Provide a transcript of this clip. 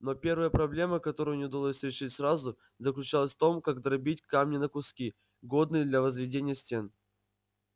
но первая проблема которую не удалось решить сразу заключалась в том как дробить камни на куски годные для возведения стен